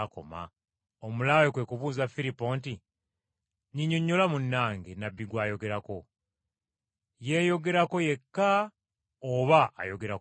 Omulaawe kwe kubuuza Firipo nti, “Nnyinnyonnyola, munnange, nnabbi gw’ayogerako; yeeyogerako yekka oba ayogera ku mulala?”